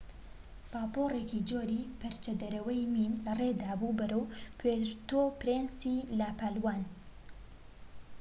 پاپۆرێکی جۆری پەرچدەرەوەی مین لەڕێدا بوو بەرەو پوێرتۆ پرینسی لە پالاوان